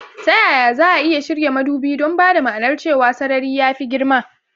Ta yaya za a iya shirya madubi don ba da ma'anar cewa sarari ya fi girma?